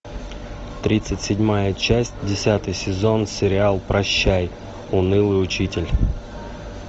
тридцать седьмая часть десятый сезон сериал прощай унылый учитель